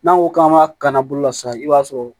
N'an ko k'an b'a ka kanna bolo la sisan i b'a sɔrɔ